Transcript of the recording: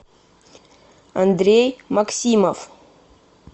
андрей максимов